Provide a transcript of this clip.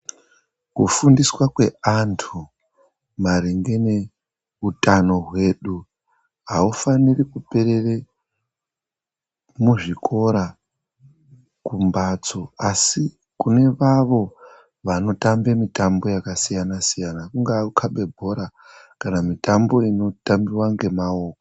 Kufundiswa kweantu maringe neutano hwedu aufaniri kuperere muzvikora, kumbatso asi kune vavo vanotambe mitambo yakasiyana-siyana kungave kukhabe bhora kana mitambo inotambiwa ngemaoko.